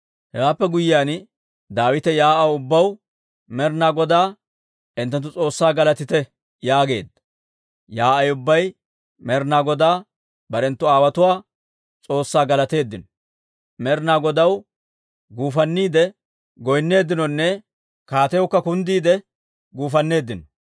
Hewaappe guyyiyaan, Daawite yaa'aw ubbaw, «Med'inaa Godaa hinttenttu S'oossaa galatite» yaageedda. Yaa'ay ubbay Med'inaa Godaa barenttu aawotuwaa S'oossaa galateeddino. Med'inaa Godaw guufanniide goynneeddinonne kaatiyawukka kundda giide guufanneeddino.